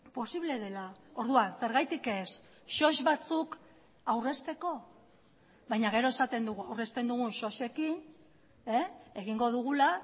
posible dela orduan zergatik ez sos batzuk aurrezteko baina gero esaten dugu aurrezten dugun sosekin egingo dugula